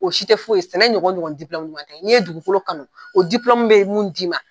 O si tɛ foyi ye .Sɛnɛɲɔgɔn ɲɔgɔn ɲɔgɔn tɛ, ni ye dugukolo kanu o be mun di ma